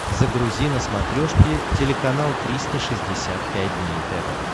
загрузи на смотрешке телеканал триста шестьдесят пять дней тв